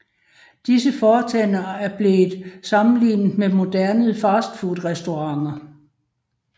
Disse foretagender er blevet sammenlignet med moderne fastfoodrestauranter